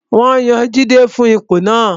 Wọ́n yan Jide fún ipò náà